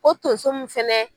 O tonso mun fɛnɛ